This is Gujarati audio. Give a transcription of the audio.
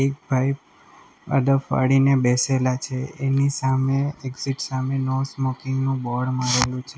ભાઈ અદબ વાળીને બેસેલા છે એની સામે એક્ઝેટ સામે નો સ્મોકિંગ નું બોર્ડ મારેલું છે.